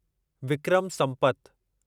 Vikram Sampat